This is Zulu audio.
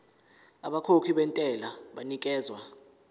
abakhokhi bentela banikezwa